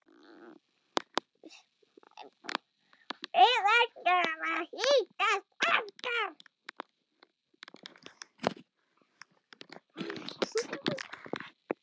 Við ætluðum að hittast aftur.